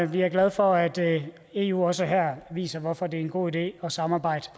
vi glade for at eu også her viser hvorfor det en god idé at samarbejde